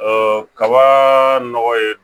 kaba nɔgɔ ye